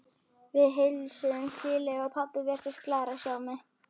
Við heilsuðumst hlýlega og pabbi virtist glaður að sjá mig.